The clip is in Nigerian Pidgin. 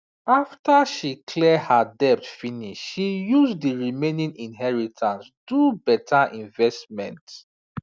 after she clear her debt finish she use the remaining inheritance do better investment